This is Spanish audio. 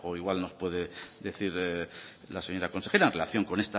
igual nos puede decir la señora consejera en relación con